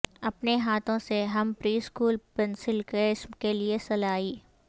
اپنے ہاتھوں سے ہم پری اسکول پنسل کیس کے لئے سلائی